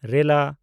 ᱻ